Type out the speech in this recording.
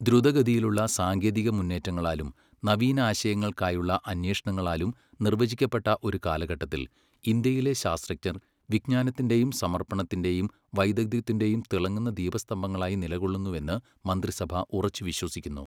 ദ്രുതഗതിയിലുള്ള സാങ്കേതിക മുന്നേറ്റങ്ങളാലും നവീനാശയങ്ങൾക്കായുള്ള അന്വേഷണങ്ങളാലും നിർവ്വചിക്കപ്പെട്ട ഒരു കാലഘട്ടത്തിൽ, ഇന്ത്യയിലെ ശാസ്ത്രജ്ഞർ വിജ്ഞാനത്തിന്റെയും സമർപ്പണത്തിന്റെയും വൈദഗ്ധ്യത്തിന്റെയും തിളങ്ങുന്ന ദീപസ്തംഭങ്ങളായി നിലകൊള്ളുന്നുവെന്ന് മന്ത്രിസഭ ഉറച്ചു വിശ്വസിക്കുന്നു.